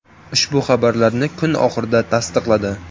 Ushbu xabarlarni kun oxirida SSV tasdiqladi .